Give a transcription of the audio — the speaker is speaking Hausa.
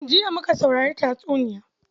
Jiya muka saurari tatsuniyar.